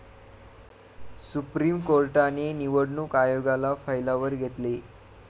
supreme कोर्टाने निवडणूक आयोगाला फैलावर घेतले